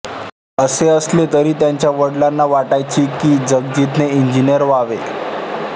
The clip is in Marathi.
असे असले तरी त्यांच्या वडिलांना वाटायचे की जगजितने इंजिनीअर व्हावे